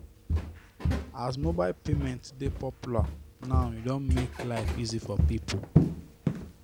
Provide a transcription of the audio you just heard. as mobile payment dey popular now e don make life easy for people